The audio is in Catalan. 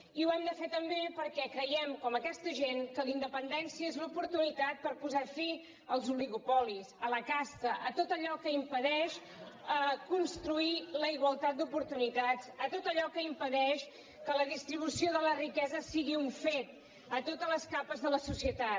i ho hem de fer també perquè creiem com aquesta gent que la independència és l’oportunitat per posar fi als oligopolis a la casta a tot allò que impedeix construir la igualtat d’oportunitats a tot allò que impedeix que la distribució de la riquesa sigui un fet a totes les capes de la societat